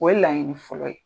O ye laɲini fɔlɔ ye.